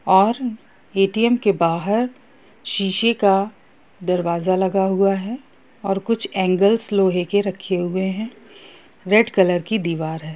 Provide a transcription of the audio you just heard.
और ए.टी.एम. के बाहर शीशे का दरवाजा लगा हुआ है और कुछ एंगल्स लोहे के रखे हुए है रेड कलर की दीवाल है।